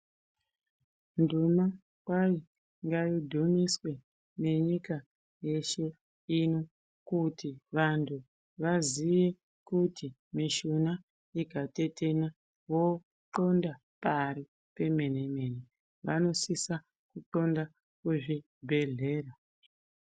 Nduma kwai ngaidhumiswe ngenyika yeshe ino. Kuti vantu vaziye kuti mishuna ikatetena votxonda pari pemene-mene, vanosisa kutxonda kuzvibhedhlera.